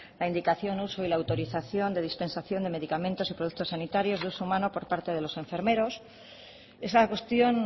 la indicación uso y la autorización de dispensación de medicamentos y productos sanitarios de uso humano por parte de los enfermeros esa cuestión